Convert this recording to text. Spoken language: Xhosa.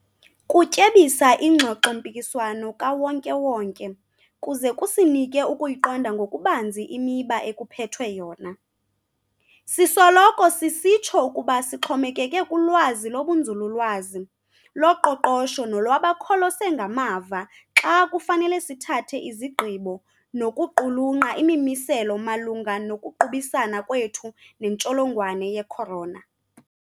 Kutyebisa ingxoxo-mpikiswano kawonke-wonke kuze kusinike ukuyiqonda ngokubanzi imiba ekuphethwe yona. Sisoloko sisitsho ukuba sixhomekeke kulwazi lobunzululwazi, loqoqosho nolwabakholose ngamava xa kufanele sithathe izigqibo nokuqulunqa imimiselo malunga nokuqubisana kwethu nentsholongwane ye-corona.